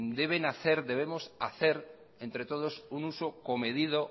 debemos hacer entre todos un uso comedido